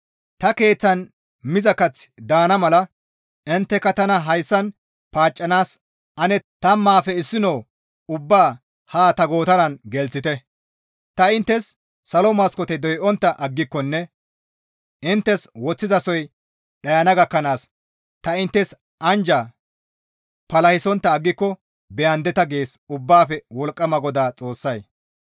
Ta keeththan miza kaththi daana mala intteka tana hayssan paaccanaas ane tammaafe issino ubbaa ha ta gootaran gelththite; ta inttes salo maskoote doyontta aggikonne inttes woththizasoy dhayana gakkanaas ta inttes anjja palahisontta aggiko beyandeta» gees Ubbaafe Wolqqama GODAA Xoossay.